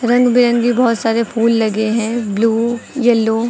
रंग बिरंगे बहोत सारे फूल लगे हैं ब्लू येलो ।